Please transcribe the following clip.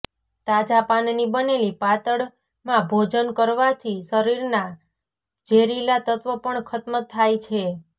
તાજા પાનની બનેલી પાતળમાં ભોજન કરવાથી શરીરના ઝેરીલા તત્વ પણ ખત્મ થાય છે